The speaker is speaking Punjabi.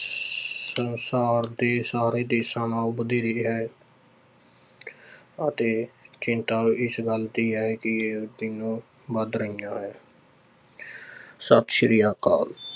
ਸੰਸਾਰ ਦੇ ਸਾਰੇ ਦੇਸਾਂ ਨਾਲੋਂ ਵਧੇਰੇ ਹੈ ਅਤੇ ਚਿੰਤਾ ਇਸ ਗੱਲ ਦੀ ਹੈ ਕਿ ਇਹ ਤਿੰਨੋਂ ਵੱਧ ਰਹੀਆਂ ਹੈ ਸਤਿ ਸ੍ਰੀ ਅਕਾਲ।